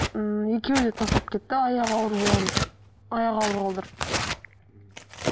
ммм екеуі де тастап кетті аяғы ауыр аяқ ауыр қылдырып